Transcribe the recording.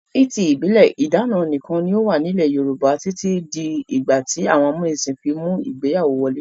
Ní ti ìbílẹ̀, ìdáná nìkan ni ó wà nílẹ̀ Yorùbá títí di ìgbà tí àwọn amúnisìn fi mú ìgbéyàwó wọlé.